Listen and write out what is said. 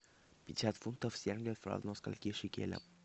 пятьдесят фунтов стерлингов равно скольки шекелям